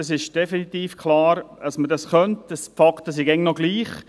es ist definitiv klar, dass man dies könnte, denn die Fakten sind immer noch dieselben.